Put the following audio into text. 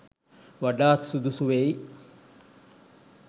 වඩාත් සුදුසු වෙයි.